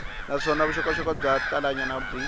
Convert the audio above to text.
naswona vuxokoxoko byo talanyana byi